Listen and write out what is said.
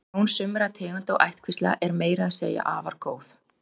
Sjón sumra tegunda og ættkvísla er meira að segja afar góð.